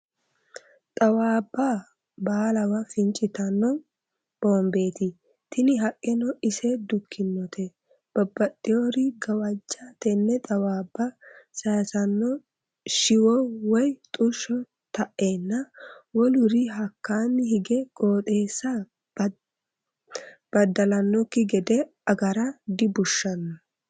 Xaawabba baallawa fincittano bombeti tini haqeno ise dukkinote babbaxewori gawaje tene xawabba sayissano shiwo woyi xusho taenna woluri hakkani hige qooxeessa badalanokki gede agara dibushano.